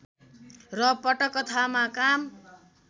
र पटकथामा काम